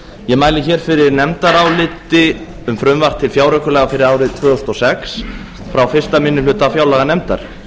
ég mæli hér fyrir nefndaráliti um frumvarp til fjáraukalaga fyrir árið tvö þúsund og sex frá fyrstu minni hluta fjárlaganefndar